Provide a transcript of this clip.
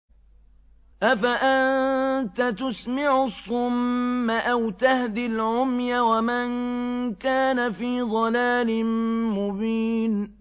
أَفَأَنتَ تُسْمِعُ الصُّمَّ أَوْ تَهْدِي الْعُمْيَ وَمَن كَانَ فِي ضَلَالٍ مُّبِينٍ